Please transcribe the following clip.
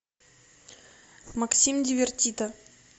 максим дивертито